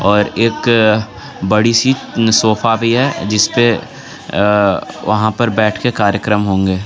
और एक बड़ी सी सोफा भी है जिसपे अ वहां पर बैठके कार्यक्रम होंगे.